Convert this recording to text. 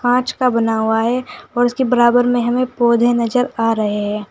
कांच का बना हुआ है और इसके बराबर में हमें पौधे नजर आ रहे हैं।